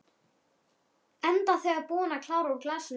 Enda þegar búin að klára úr glasinu.